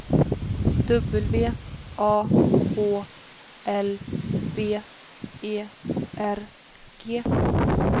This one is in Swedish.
W A H L B E R G